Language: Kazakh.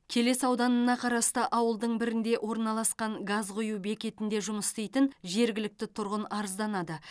келес ауданына қарасты ауылдың бірінде орналасқан газ құю бекетінде жұмыс істейтін жергілікті тұрғын арызданады